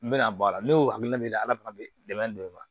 N bɛna bɔ a la ne y'o hakilina min di dɛ ala fana bɛ dɛmɛ don e ma